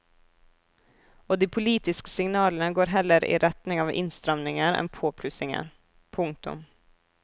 Og de politiske signalene går heller i retning av innstramninger enn påplussinger. punktum